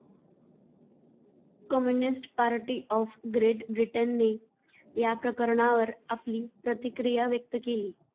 Communist Party of Great ब्रिटनने या प्रकरणावर आपली प्रतिक्रिया व्यक्त केली.